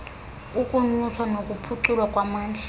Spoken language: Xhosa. kukunyuswa nokuphuculwa kwamandla